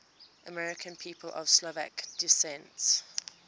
american people of slovak descent